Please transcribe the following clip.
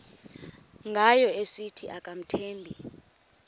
ngayo esithi akamthembi